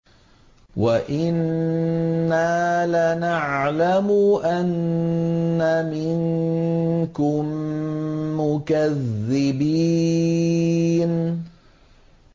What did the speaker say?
وَإِنَّا لَنَعْلَمُ أَنَّ مِنكُم مُّكَذِّبِينَ